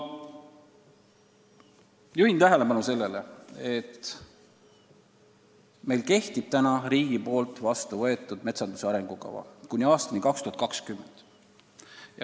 Samas juhin tähelepanu sellele, et meil kehtib Riigikogus vastu võetud metsanduse arengukava kuni aastani 2020.